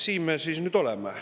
Siin me siis nüüd oleme.